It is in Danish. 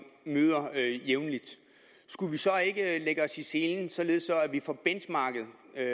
møder skulle vi så ikke lægge os i selen således at vi får benchmarket